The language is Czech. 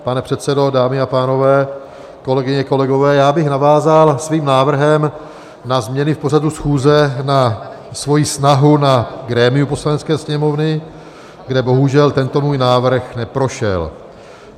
Pane předsedo, dámy a pánové, kolegyně, kolegové, já bych navázal svým návrhem na změny v pořadu schůze na svoji snahu na grémiu Poslanecké sněmovny, kde bohužel tento můj návrh neprošel.